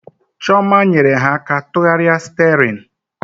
Chioma nyere ha aka tụgharịa sterin